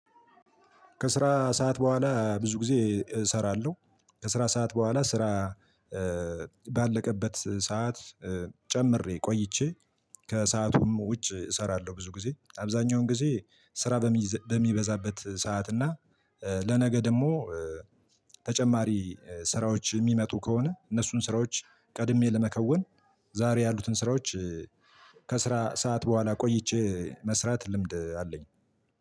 ከስራ ሰዓት በኋላ ብዙ ጊዜ እሰራለሁ። ከስራ ሰዓት በኋላ ስራ ባለቀበት ሰዓት ጨምሬ ቆይቼ ከሰዓቱም ውጭ እሰራለሁ። ብዙ ጊዜ አብዛኛውን ጊዜ ስራ በሚበዛበት ሰዓት እና። ለነገ ደግሞ ተጨማሪ ስራዎች የሚመጡ ከሆነ እነሱን ስራዎች ቀድሜ ለመከወን ዛሬ ያሉትን ስራዎች። ከስራ ሰዓት በኋላ ቆይቼ መስራት ልምድ አለኝ።